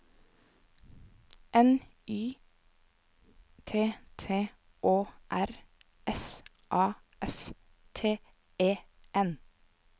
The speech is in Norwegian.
N Y T T Å R S A F T E N